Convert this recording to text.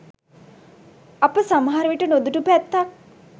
අප සමහරවිට නොදුටු පැත්තක්